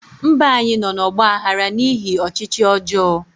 Mba anyị nọ n'ọgba aghara n'ihi ọchịchị ọjọọ